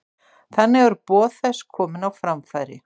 Þannig eru boð þess komin á framfæri.